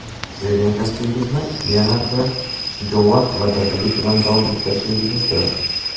sevgan kasbingizni yanada shijoat va dadillik bilan davom ettirishingizni so‘rardik.